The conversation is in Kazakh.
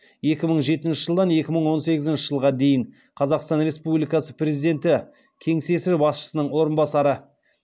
екі мың жетінші жылдан екі мың он сегізінші жылға дейін қазақстан республикасы президенті кеңсесі басшысының орынбасары